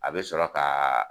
A bɛ sɔrɔ ka